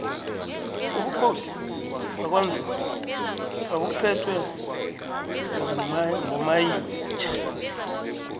ubukhosi bakwanzunza babuphetwe ngomayitjha